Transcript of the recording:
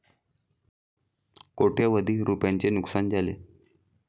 कोटय़वधी रूपयांचे नुकसान झाले.